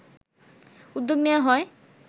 উদ্যোগ নেয়া হয়